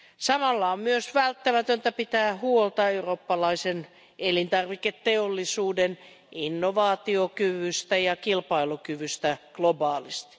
Samalla on myös välttämätöntä pitää huolta eurooppalaisen elintarviketeollisuuden innovaatiokyvystä ja kilpailukyvystä globaalisti.